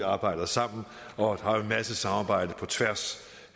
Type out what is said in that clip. arbejder sammen og har en masse samarbejde på tværs